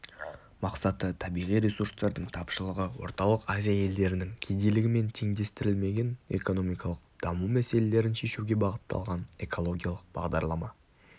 мақсаты табиғи ресурстардың тапшылығы орталық азия елдерінің кедейлігі мен теңдестірілмеген экономикалық даму мәселелерін шешуге бағытталған экологиялық бағдарлама